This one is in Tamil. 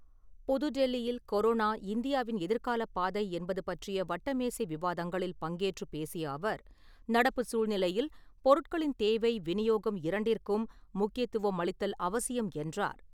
புதுடெல்லியில் கொரோனா, இந்தியாவின் எதிர்காலப் பாதை என்பது பற்றிய வட்டமேசை விவாதங்களில் பங்கேற்று பேசிய அவர், நடப்புச் சூழ்நிலையில், பொருட்களின் தேவை விநியோகம் இரண்டிற்கும் முக்கியத்துவம் அளித்தல் அவசியம் என்றார்.